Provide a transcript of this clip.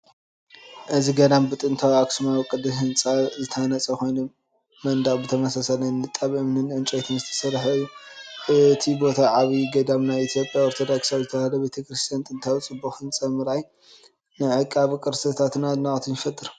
እዚ ገዳም ብጥንታዊ ኣኽሱማዊ ቅዲ ስነ ህንጻ ዝተሃንጸ ኮይኑ፡ መንደቕ ብተመሳሳሊ ንጣብ እምንን ዕንጨይትን ዝተሰርሐ እዩ። እቲ ቦታ ዓቢይ ገዳም ናይ ኢትዮጵያ ኦርቶዶክሳዊት ተዋህዶ ቤተ ክርስቲያን ነቲ ጥንታዊን ጽቡቕ ህንጻ ምርኣይ፡ ንዕቃበ ቅርስታት ኣድናቖት ይፈጥር።